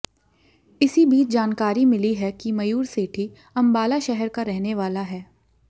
इसी बीच जानकारी मिली है कि मयूर सेठी अंबाला शहर का रहने वाला है